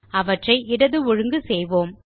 அவற்றை இடது ஒழுங்கு செய்வோம்